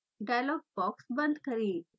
dialog box बंद करें